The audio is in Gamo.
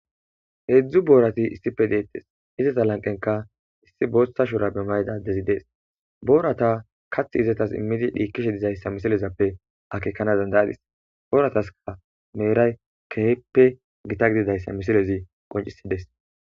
Hedzdzuboorati issippe de7eettes. izeta lanqenikka issi bootha shuraabe mayida naykka dees booratas kaththi immidi dhiikkishe de7izayssa akeekana danda7aysi booratas meeray keehippe gita gididayssa hamisilezi qoncisees.